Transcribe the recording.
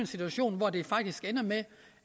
situation hvor det faktisk ender med